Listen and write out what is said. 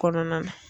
Kɔnɔna na